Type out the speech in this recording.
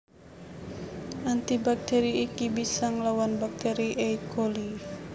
Anti baktÈri iki bisa nglawan baktèri E Coli